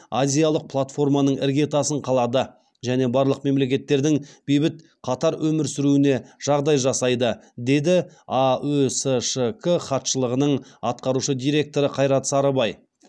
азиялық платформаның іргетасын қалады және барлық мемлекеттердің бейбіт қатар өмір сүруіне жағдай жасайды деді аөсшк хатшылығының атқарушы директоры қайрат сарыбай